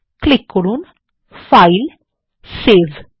click করুন ফাইলগটসেভ